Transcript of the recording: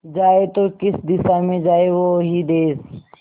जाए तो किस दिशा में जाए वो ही देस